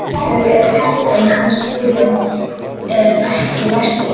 Þau eru heppin að skúrinn er ekki læstur.